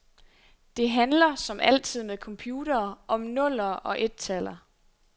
Det handler, som altid med computere, om nuller og ettaller.